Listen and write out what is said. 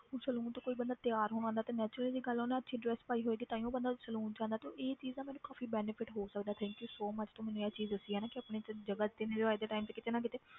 ਹੁਣ saloon ਤੋਂ ਕੋਈ ਬੰਦਾ ਤਿਆਰ ਹੋਣ ਆਉਂਦਾ ਤੇ natural ਜਿਹੀ ਗੱਲ ਆ ਉਹਨੇ ਅੱਛੀ dress ਪਾਈ ਹੋਏਗੀ ਤਾਂਹੀਓ ਬੰਦਾ saloon 'ਚ ਆਉਂਦਾ ਤੇ ਉਹ ਇਹ ਚੀਜ਼ ਦਾ ਮੈਨੂੰ ਕਾਫ਼ੀ benefit ਹੋ ਸਕਦਾ thank you so much ਤੂੰ ਮੈਨੂੰ ਇਹ ਚੀਜ਼ ਦੱਸੀ ਆ ਨਾ ਕਿ ਆਪਣੀ ਤੂੰ ਜਗ੍ਹਾ time ਤੇ ਕਿਤੇ ਨਾ ਕਿਤੇ